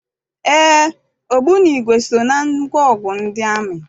Éé, ogbunigwe so na ngwaọgụ ndị amị.